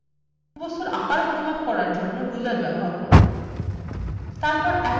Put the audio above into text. বস্তুর আকার পরিমাপ করার জন্যে ruler ব্যবহার করুন